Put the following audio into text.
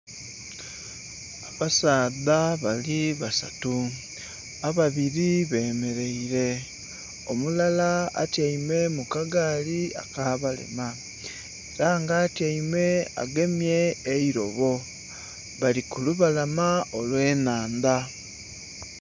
Abasaadha bali basatu ababiri be mereire omulala atyaime mu kagaali akabalema era nga atyaime agemye eirobo bali ku lubalama olwe nhandha.